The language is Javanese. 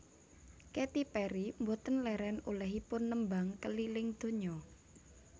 Katy Perry mboten leren olehipun nembang keliling donya